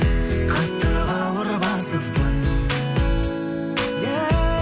қатты бауыр басыппын